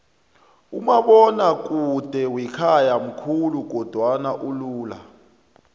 umabonakude wakhaya mkhulu kodwana ulula